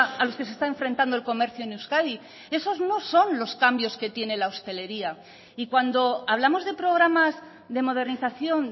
a los que se está enfrentando el comercio en euskadi esos no son los cambios que tiene la hostelería y cuando hablamos de programas de modernización